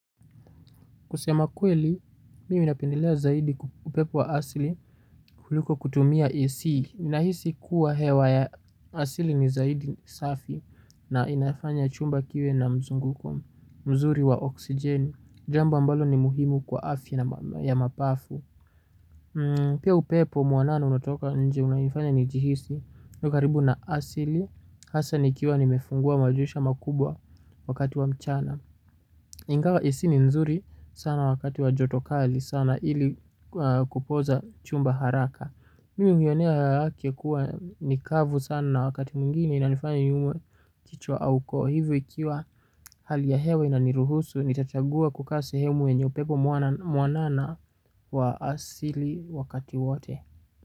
Kusema kweli, mimi napendelea zaidi upepo wa asili kuliko kutumia AC, ninahisi kuwa hewa ya asili ni zaidi safi. Na inafanya chumba kiwe na mzunguko mzuri wa oksijeni. Jambo ambalo ni muhimu kwa afya ya mapafu. Pia upepo mwanana unatoka nje unafanya nijihisi ni karibu na asili, hasa nikiwa nimefungua madirisha makubwa wakati wa mchana Ingawa AC ni nzuri sana wakati wa joto kali sana ili kupoza chumba haraka. Mimi uionea hewa yake kuwa nikavu sana na wakati mwingine inanifanya niumwe kichwa au koo. Hivi ikiwa hali ya hewa inaniruhusu nitachagua kukaa sehemu yenye upepo mwanana wa asili wakati wote.